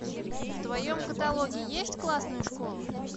в твоем каталоге есть классная школа